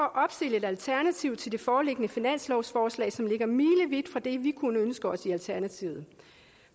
et alternativ til det foreliggende finanslovsforslag som ligger milevidt fra det vi kunne ønske os i alternativet